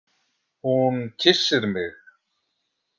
Hún kyssir mig.